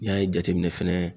N'i y'a jateminɛ fɛnɛ